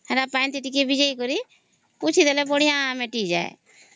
ସେଟା ପାଣି ରେ ଟିକେ ଭିଜାଇ ଦେଇକରି ପୁଛି ଦେଲେ ବଢିଆ ମିଟେଇ ଯାଏ